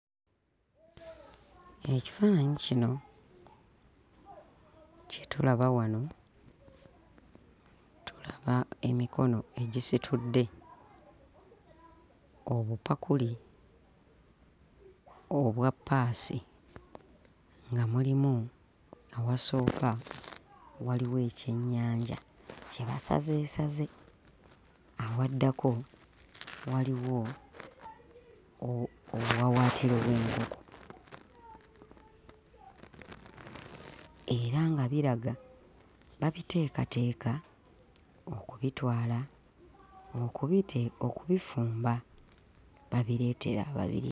Ekifaananyi kino kye tulaba wano tulaba emikono egisitudde obupakuli obwa ppaasi nga mulimu awasooka waliwo ekyennyanja kye basazeesaze, awaddako waliwo obuwawaatiro bw'enkoko era nga biraga babiteekateeka okubitwala okubite... okubifumba babireetere ababirya.